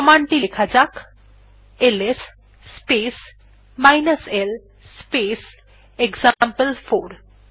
command টি লেখা যাক এলএস স্পেস l স্পেস এক্সাম্পল4